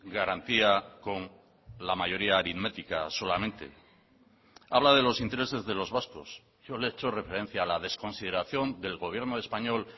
garantía con la mayoría aritmética solamente habla de los intereses de los vascos yo le he hecho referencia a la desconsideración del gobierno español